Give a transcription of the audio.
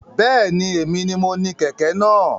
Bẹ́ẹ̀ni, èmi ni mo ni kẹ̀kẹ́ náà